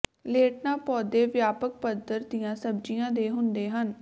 lantana ਪੌਦੇ ਵਿਆਪਕ ਪੱਧਰ ਦੀਆਂ ਸਬਜੀਆਂ ਦੇ ਹੁੰਦੇ ਹਨ